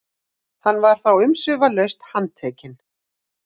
Var hann þá umsvifalaust handtekinn